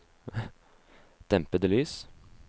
dempede lys